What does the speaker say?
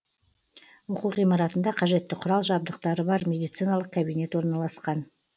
оқу ғимаратында қажетті құрал жабдықтары бар медициналық кабинет орналасқан